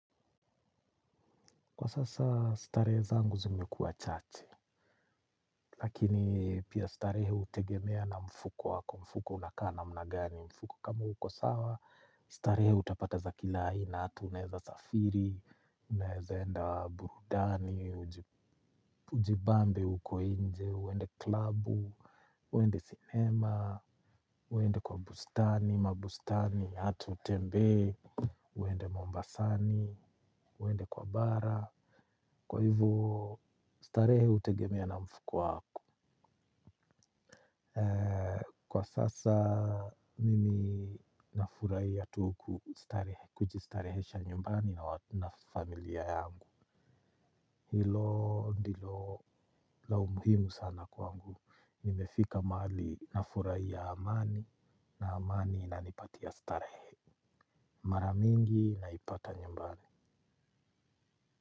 Kwa sasa, starehe zangu zimekuwa chache, lakini pia starehe hutegemea na mfuko wako, mfuko unakaa namna gani. Kama uko sawa, starehe utapata za kila aina, ata unaweza kusafiri, unaweza kwenda burudani. Ujibambe uko nje, uende klabu, uende cinema, uende kwa bustani, mabustani, hata utembee, uende Mombasani, uende kwa bara. Kwa hivyo, starehe hutegemea na mfuko wako. Kwa sasa, mimi nafurahia tu kujistarehesha nyumbani na familia yangu. Hilo ndilo la umuhimu sana kwangu. Nimefika mahali nafurahia amani, na amani inanipatia starehe. Mara nyingi, naipata nyumbani.